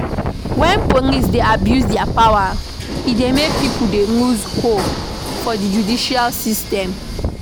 when police dey abuse their power e dey make pipo dey loose hope for di judicial system